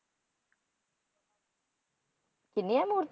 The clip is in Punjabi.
ਕਿੰਨੀਆਂ ਮੂਰਤੀ